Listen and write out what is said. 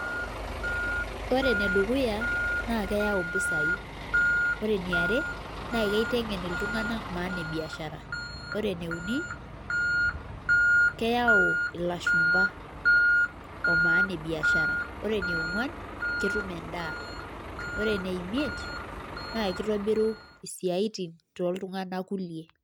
enedukuya keyaau mpisai, maana ee biashara, keyau ilashumba ooo biashara, ketum endaa naa kitobiru isiatin too ltunganak kuliee